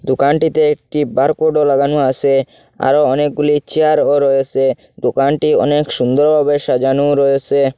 দোকানটিতে একটি বারকোডও লাগানো আছে আরও অনেকগুলি চেয়ারও রয়েছে দোকানটি অনেক সুন্দরভাবে সাজানো রয়েছে।